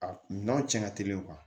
A kunna cɛn ka teli